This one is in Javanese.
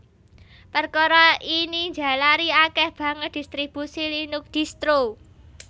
Perkara ini njalari akèh banget distribusi Linux distro